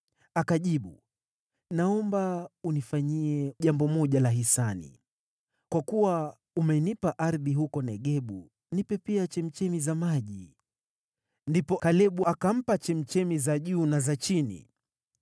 Akamjibu, “Naomba unifanyie jambo moja la hisani. Kwa kuwa umenipa ardhi huko Negebu, nipe pia chemchemi za maji.” Ndipo Kalebu akampa chemchemi za juu na za chini.